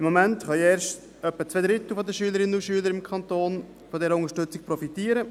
Im Moment können erst etwa zwei Drittel der Schülerinnen und Schüler im Kanton von dieser Unterstützung profitieren.